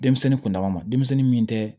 Denmisɛnnin kundama ma denmisɛnnin min tɛ